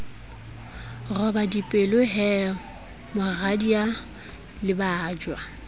roba dipelo he moradia lebajwa